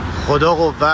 Xuda qüvvət.